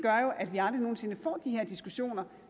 her diskussioner